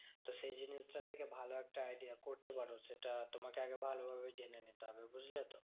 তো সেই জিনিসটা থেকে ভালো একটা idea করতে পারো সেটা তোমাকে আগে ভালোভাবে জেনে নিতে হবে, বুঝলে তো?